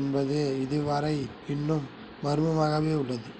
என்பதும் இதுவரையில் இன்னும் மர்மமாகவே உள்ளது